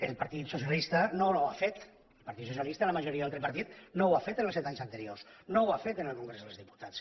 el partit socialista no ho ha fet el partit socialista la majoria del tripartit no ho ha fet els set anys anteriors no ho ha fet en el congrés dels diputats